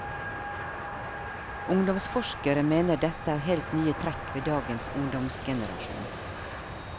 Ungdomsforskere mener dette er helt nye trekk ved dagens ungdomsgenerasjon.